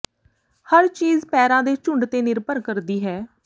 ਹਰ ਚੀਜ਼ ਪੈਰਾਂ ਦੇ ਝੁੰਡ ਤੇ ਨਿਰਭਰ ਕਰਦੀ ਹੈ